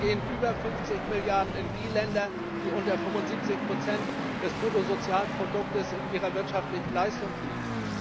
Davon gehen über 50 Milliarden in die Länder, die unter 75 des Bruttosozialprodukts in ihrer wirtschaftlichen Leistung liegen.